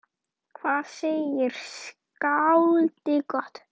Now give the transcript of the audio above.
Hvað segir skáldið gott?